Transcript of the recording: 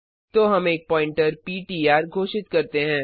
तो हम एक प्वॉइंटर पिट्र घोषित करते हैं